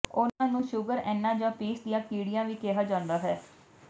ਉਨ੍ਹਾਂ ਨੂੰ ਸ਼ੂਗਰ ਐਨਾਂ ਜਾਂ ਪੀਸ ਦੀਆਂ ਕੀੜੀਆਂ ਵੀ ਕਿਹਾ ਜਾਂਦਾ ਹੈ